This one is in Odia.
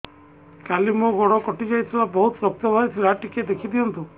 କାଲି ମୋ ଗୋଡ଼ କଟି ଯାଇଥିଲା ବହୁତ ରକ୍ତ ବାହାରି ଥିଲା ଟିକେ ଦେଖି ଦିଅନ୍ତୁ